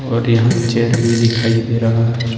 और यहां चेयर भी दिखाई दे रहा है।